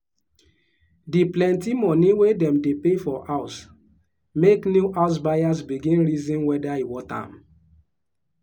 the plenty money wey dem dey pay for house make new house buyers begin reason whether e worth am.